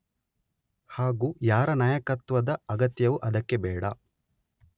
ಹಾಗೂ ಯಾರ ನಾಯಕತ್ವದ ಅಗತ್ಯವೂ ಅದಕ್ಕೆ ಬೇಡ.